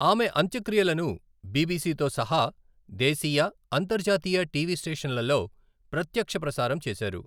ఆమె అంత్యక్రియలను బిబిసితో సహా దేశీయ, అంతర్జాతీయ టీవీ స్టేషన్ల్లో ప్రత్యక్ష ప్రసారం చేశారు.